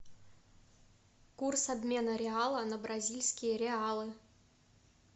курс обмена реала на бразильские реалы